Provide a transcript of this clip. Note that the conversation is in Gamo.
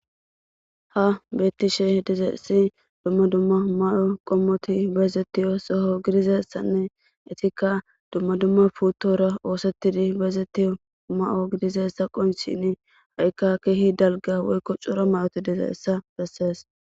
Ha beettishe dizesi dumma dumma mayo qommoti beezettiyo soho gidizessanne etikka dumma dumma puutora oosettidi beezettiyo ma'o gidizessa qonchini haqikka keehi dalga woykko cura mayoti dize essa bessees